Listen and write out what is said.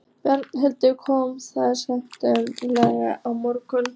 Berghildur: Komuð þið snemma í morgun?